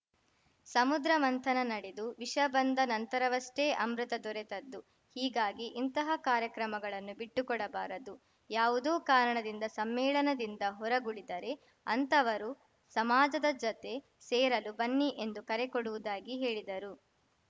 ಸಮುದ್ರ ಮಂಥನ ನಡೆದು ವಿಷ ಬಂದ ನಂತರವಷ್ಟೇ ಅಮೃತ ದೊರೆತದ್ದು ಹೀಗಾಗಿ ಇಂತಹ ಕಾರ್ಯಕ್ರಮಗಳನ್ನು ಬಿಟ್ಟು ಕೊಡಬಾರದು ಯಾವುದೋ ಕಾರಣದಿಂದ ಸಮ್ಮೇಳನದಿಂದ ಹೊರಗುಳಿದರೆ ಅಂತಹವರು ಸಮಾಜದ ಜತೆ ಸೇರಲು ಬನ್ನಿ ಎಂದು ಕರೆ ಕೊಡುವುದಾಗಿ ಹೇಳಿದರು